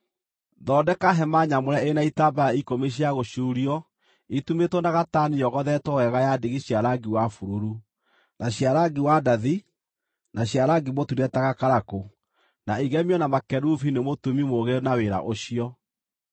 “Thondeka hema nyamũre ĩrĩ na itambaya ikũmi cia gũcuurio itumĩtwo na gatani yogothetwo wega ya ndigi cia rangi wa bururu, na cia rangi wa ndathi, na cia rangi mũtune ta gakarakũ, na igemio na makerubi nĩ mũtumi mũũgĩ na wĩra ũcio.